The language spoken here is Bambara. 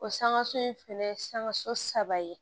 O sanŋa so in fɛnɛ ye sanŋa so saba ye